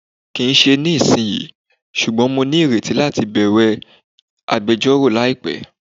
kín ṣe ní isiyí, sùgbón mọ ní ìrètí latí bẹwẹ agbẹjọro laípé.